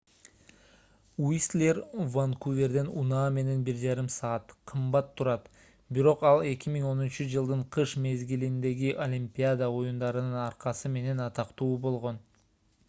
уистлер ванкуверден унаа менен 1,5 саат кымбат турат бирок ал 2010—жылдын кыш мезгилиндеги олимпиада оюндарынын аркасы менен атактуу болгон